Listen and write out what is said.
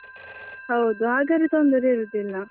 ಹೌದು ಹಾಗಾದ್ರೆ ತೊಂದರೆ ಇರುದಿಲ್ಲ.